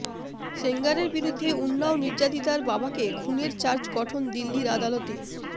সেঙ্গারের বিরুদ্ধে উন্নাও নির্যাতিতার বাবাকে খুনের চার্জ গঠন দিল্লির আদালতে